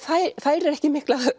færir ekki mikla